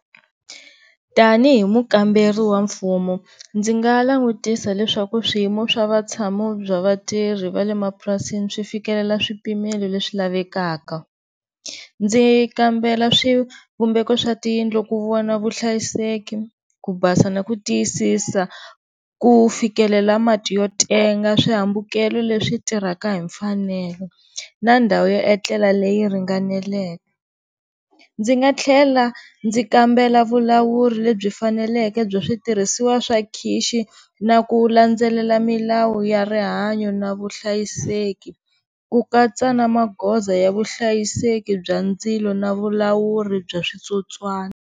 Tanihi mukamberi wa mfumo ndzi nga langutisa leswaku swiyimo swa vatshamo bya vatirhi va le mapurasini swi fikelela swipimelo leswi lavekaka ndzi kambela swivumbeko swa tiyindlu ku vona vuhlayiseki, ku basa na ku tiyisisa ku fikelela mati yo tenga swihambukelo leswi tirhaka hi mfanelo na ndhawu yo etlela leyi ringaneleke. Ndzi nga tlhela ndzi kambela vulawuri lebyi faneleke bya switirhisiwa swa khixi na ku landzelela milawu ya rihanyo na vuhlayiseki ku katsa na magoza ya vuhlayiseki bya ndzilo na vulawuri bya switsotswana.